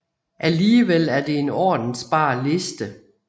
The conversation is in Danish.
Alligevel er det en ordensbar liste